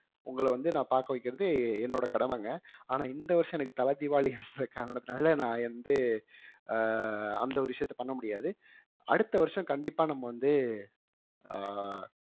உங்களை வந்து நான் பார்க்க வைக்கிறது என்னோட கடமைங்க ஆனால் இந்த வருஷம் எனக்கு தல தீபாவளின்ற காரணத்துனால நான் வந்து அஹ் அந்த ஒரு விஷயத்த பண்ண முடியாது அடுத்த வருஷம் கண்டிப்பா நம்ம வந்து அஹ்